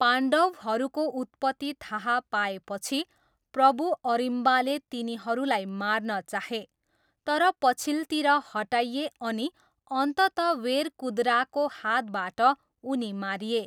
पाण्डवहरूको उत्पत्ति थाहा पाएपछि, प्रबू अरिम्बाले तिनीहरूलाई मार्न चाहे, तर पछिल्तिर हटाइए अनि अन्ततः वेरकुदराको हातबाट उनी मारिए।